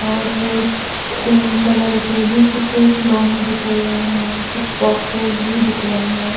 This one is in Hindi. और रेड पिंक कलर के भी कुछ खिलोने दिख रहे है कुछ बोक्सेक्स भी दिख रहे है।